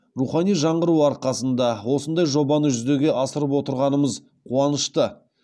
рухани жаңғыру арқасында осындай жобаны жүзеге асырып отырғанымыз қуанышты